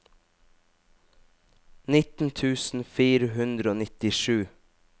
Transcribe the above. nitten tusen fire hundre og nittisju